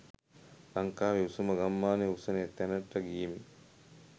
ලංකාවේ උසම ගම්මානයේ උසම තැනට ගියෙමි.